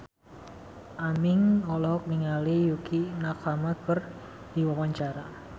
Aming olohok ningali Yukie Nakama keur diwawancara